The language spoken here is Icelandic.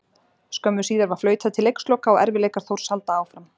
Skömmu síðar var flautað til leiksloka og erfiðleikar Þórs halda áfram.